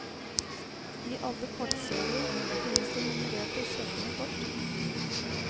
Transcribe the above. I alle kortserier finnes det nummererte, sjeldne kort.